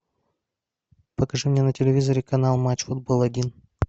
покажи мне на телевизоре канал матч футбол один